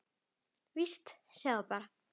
Víst, sjáðu bara!